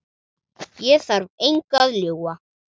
Ég þarf engu að ljúga.